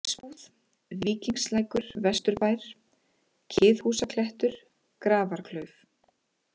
Hlaðsbúð, Víkingslækur-Vesturbær, Kiðhúsaklettur, Grafarklauf